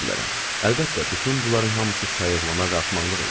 Əlbəttə, bütün bunların hamısı sayıqlama və axmaqlıq idi.